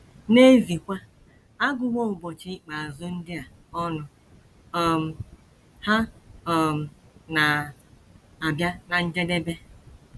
N’eziekwa, a gụwo ụbọchị ikpeazụ ndị a ọnụ; um ha um na - abịa ná njedebe.